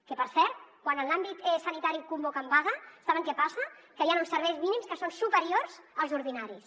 que per cert quan en l’àmbit sanitari convoquen vaga saben què passa que hi ha uns serveis mínims que són superiors als ordinaris